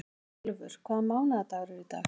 Elfur, hvaða mánaðardagur er í dag?